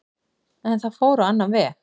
En það fór á annan veg